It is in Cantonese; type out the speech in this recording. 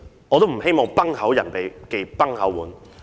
我都不希望"崩口人忌崩口碗"。